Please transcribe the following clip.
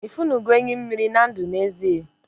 ifunugo enyi mmiri na ndu n'ezie?